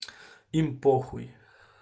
им похуй